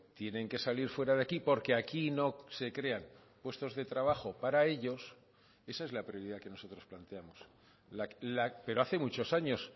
tienen que salir fuera de aquí porque aquí no se crean puestos de trabajo para ellos esa es la prioridad que nosotros planteamos pero hace muchos años